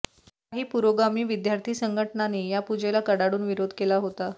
काही पुराेगामी विद्यार्थी संघटनांनी या पुजेला कडाडून विराेध केला हाेता